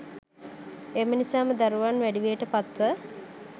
එම නිසාම දරුවන් වැඩිවියට පත්ව